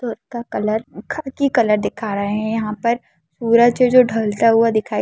सूरज का कलर खाकी कलर दिखा रहा है यहां पर पूरा जो जो ढलता हुआ दिखाई--